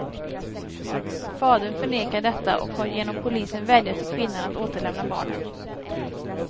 Fadern förnekar detta och har genom polisen vädjat till kvinnan att återlämna barnen.